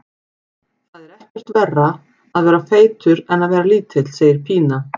Það er ekkert verra að vera feitur en að vera lítill, segir Pína.